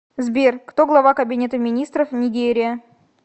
сбер кто глава кабинета министров нигерия